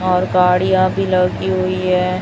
और गाड़ियां भी लगी हुई हैं।